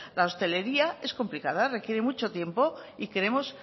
la hostelería es complicada requiere mucho tiempo y queremos